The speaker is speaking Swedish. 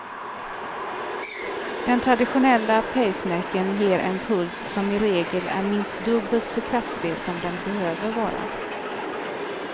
Den traditionella pacemakern ger en puls som i regel är minst dubbelt så kraftig som den behöver vara.